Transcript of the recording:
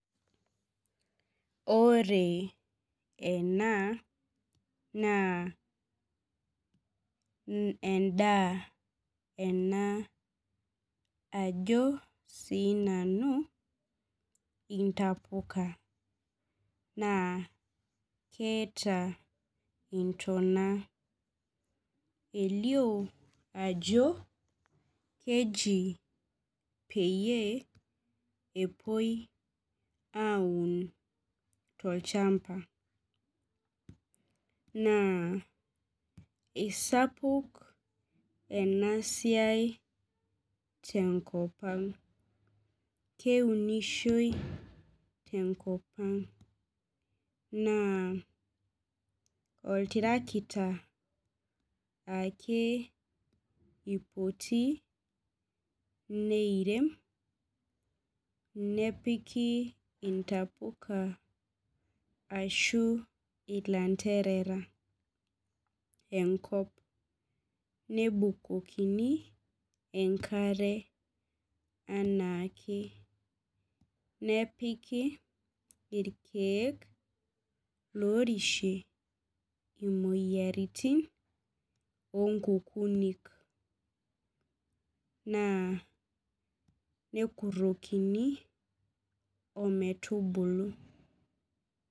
Ore ena naa endaa ena ajo sinanu intapuka naa keeta intona elio ajo keji peyie epuoi aun tolchamba naa isapuk enasia tenkopang keunishoi tenkopang na oltarakita ake ipoti neirem nepiki ntapuka ashu ilanderera enkop nebukokini enkare anaake nepiki irkiek lorishie imoyiaritin inkukunik na nekurokini ometubulu.